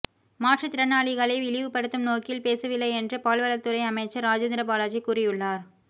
மாற்றுத்திறனாளிகளை இழிவுப்படுத்தும் நோக்கில் பேசவில்லை என்று பால்வளத்துறை அமைச்சர் ராஜேந்திர பாலாஜி கூறியுள்ளார்